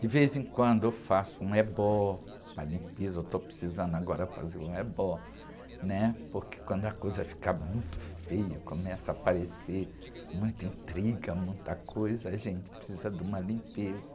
De vez em quando eu faço um ebó, uma limpeza, eu estou precisando agora fazer um ebó, né? Porque quando a coisa fica muito feia, começa a aparecer muita intriga, muita coisa, a gente precisa de uma limpeza.